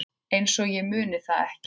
Einsog ég muni það ekki!